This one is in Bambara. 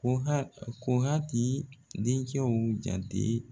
Koha kohati denkɛw jate